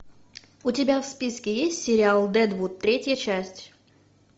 у тебя в списке есть сериал дедвуд третья часть